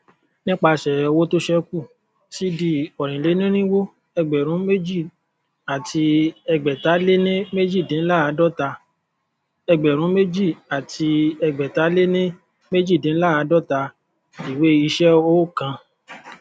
nipasẹ owó to ṣẹku cd ọrinleirinwo ẹgbẹrúnméjìàtiẹgbẹtaléníméjìdínláàádọta ẹgbẹrúnméjìàtiẹgbẹtaléníméjìdínláàádọta ìwé iṣẹ ookan